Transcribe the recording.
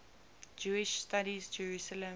jewish studies jerusalem